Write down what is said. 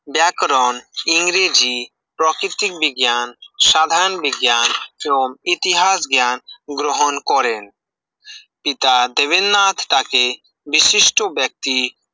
ব্যাকরণ ইংরেজি প্রকৃতিক বিজ্ঞান সাধারণ বিজ্ঞান এবং ইতিহাস জ্ঞান গ্রহণ করেন পিতা দেবেন্দ্রনাথ তাঁকে বিশিষ্ট ব্যক্তি